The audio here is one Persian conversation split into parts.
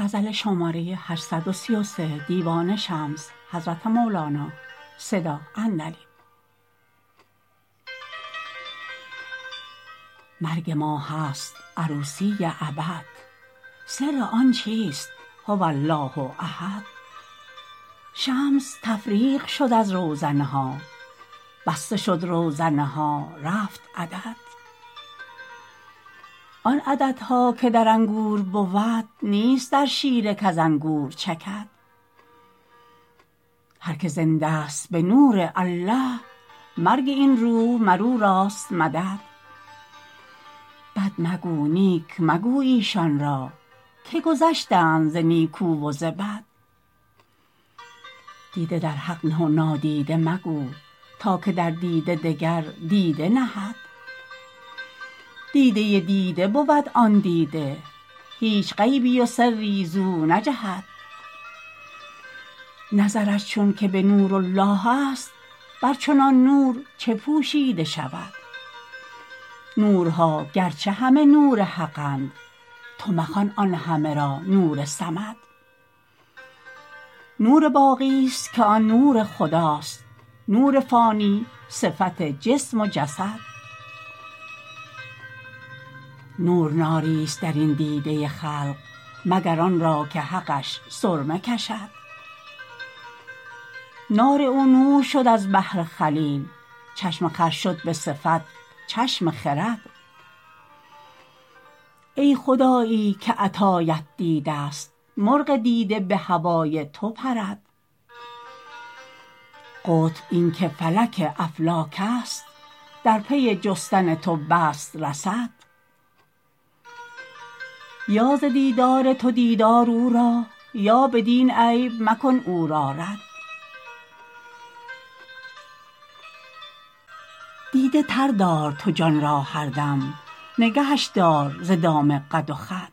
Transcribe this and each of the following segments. مرگ ما هست عروسی ابد سر آن چیست هو الله احد شمس تفریق شد از روزنه ها بسته شد روزنه ها رفت عدد آن عددها که در انگور بود نیست در شیره کز انگور چکد هر کی زنده ست به نورالله مرگ این روح مر او راست مدد بد مگو نیک مگو ایشان را که گذشتند ز نیکو و ز بد دیده در حق نه و نادیده مگو تا که در دیده دگر دیده نهد دیده دیده بود آن دیده هیچ غیبی و سری زو نجهد نظرش چونک به نورالله است بر چنان نور چه پوشیده شود نورها گرچه همه نور حقند تو مخوان آن همه را نور صمد نور باقیست که آن نور خدا است نور فانی صفت جسم و جسد نور ناریست در این دیده خلق مگر آن را که حقش سرمه کشد نار او نور شد از بهر خلیل چشم خر شد به صفت چشم خرد ای خدایی که عطایت دیدست مرغ دیده به هوای تو پرد قطب این که فلک افلاکست در پی جستن تو بست رصد یا ز دیدار تو دید آر او را یا بدین عیب مکن او را رد دیده تر دار تو جان را هر دم نگهش دار ز دام قد و خد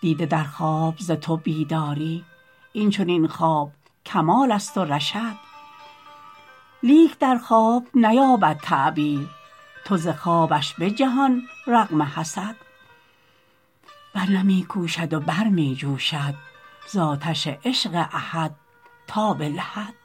دیده در خواب ز تو بیداری این چنین خواب کمالست و رشد لیک در خواب نیابد تعبیر تو ز خوابش به جهان رغم حسد ور نه می کوشد و بر می جوشد ز آتش عشق احد تا به لحد